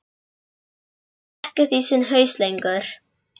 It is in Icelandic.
Hann vissi ekkert í sinn haus lengur.